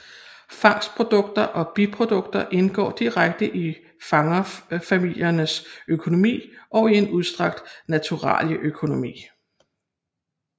Fangstprodukter og biprodukter indgår direkte i fangerfamiliernes økonomi og i en udstrakt naturalieøkonomi